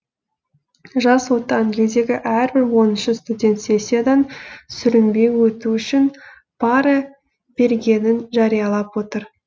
жас отан елдегі әрбір оныншы студент сессиядан сүрінбей өту үшін пара бергенін жариялап отыр